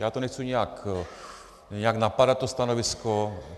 Já to nechci nijak napadat, to stanovisko.